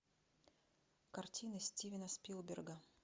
картины стивена спилберга